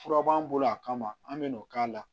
Fura b'an bolo a kama an bɛ n'o k'a la